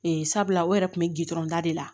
Ee sabula o yɛrɛ kun bɛ gdɔrɔn da de la